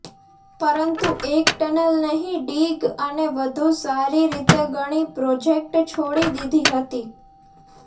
પરંતુ એક ટનલ નહિ ડિગ અને વધુ સારી રીતે ગણી પ્રોજેક્ટ છોડી દીધી હતી